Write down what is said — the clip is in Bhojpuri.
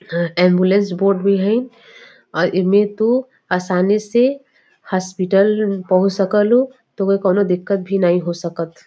हां एंबुलेंस बोर्ड भी हई और ईमे तू आसानी से हासपिटल पहुंच सकलू। तोहके कौनो दिक्कत भी नाही होई सकत।